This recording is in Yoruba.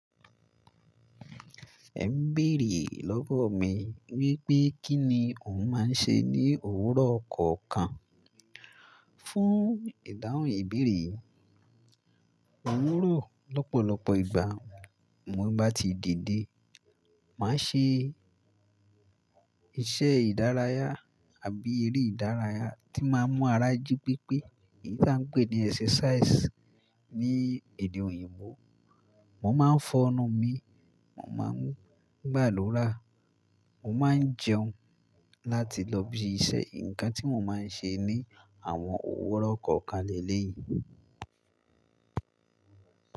Ẹ ń béèrè lọ́wọ̀ mi wípé kí ni òun máa ń ṣe ní òwúrọ̀ kọ̀ọ̀kan. Fún ìdáhùn ìbéèrè yìí, òwúrọ̀ lọ́pọ̀lọpọ̀ ìgbà mo bá ti dìde, màá ṣe iṣẹ́ ìdárayá àbí eré ìdárayá tí máa ń mú ara jí pépé èyí tí à ń pè ní exercise ní èdè òyìnbó. Mo máa ń foọnu mi, mo máa ń gbà adurá, mo máa ń jẹun láti lọ bí iṣẹ́. Ǹkan tí mo máa ń ṣe ní àwọn òwúrọ̀ kọ̀ọ̀kan lelé yìí.